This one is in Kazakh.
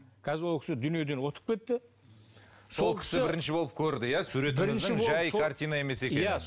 қазір ол кісі дүниеден өтіп кетті сол кісі бірінші болып көрді иә суретіңіздің жай картина емес екенін иә